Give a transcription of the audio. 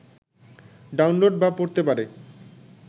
download বা পড়তে পারে